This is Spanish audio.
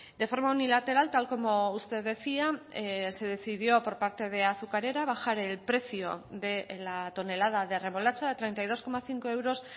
de forma unilateral tal como usted decía se decidió por parte de azucarera bajar el precio de la tonelada de remolacha de treinta y dos coma cinco euros